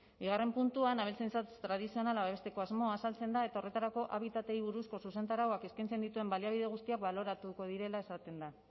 bigarren puntuan abeltzaintza tradizionala babesteko asmoa azaltzen da eta horretarako habitatei buruzko zuzentarauak eskaintzen dituen baliabide guztiak baloratuko direla esaten da